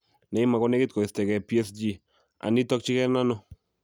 'Neymarkonegit koistoengee PSG' - Anii tokyingee ano?